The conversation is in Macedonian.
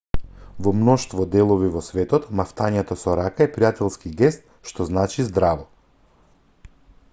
во мноштво делови во светот мавтањето со рака е пријателски гест што значи здраво